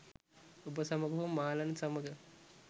ඔබ සමඟ හෝ මාලන් සමඟ.